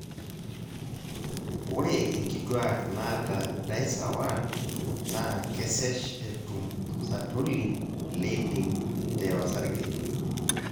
ore inkituak naata DICER1 naa kesesh etum sertoli leydig te osarge